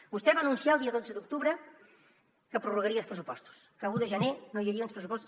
vostè va anunciar el dia dotze d’octubre que prorrogaria els pressupostos que l’un de gener no hi hauria uns pressupostos